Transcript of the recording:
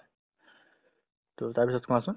to তাৰপিছত কোৱাচোন